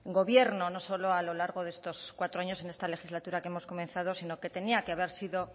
gobierno no solo a lo largo de estos cuatros en la esta legislatura que hemos comenzado sino que tenía que haber sido